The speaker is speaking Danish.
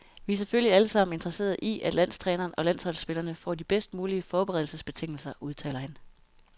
Vi er selvfølgelig allesammen interesserede i, at landstræneren og landsholdsspillerne får de bedst mulige forberedelsesbetingelser, udtaler han.